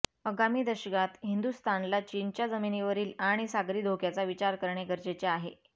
आगामी दशकात हिंदुस्थानला चीनच्या जमिनीवरील आणि सागरी धोक्याचा विचार करणे गरजेचे आहे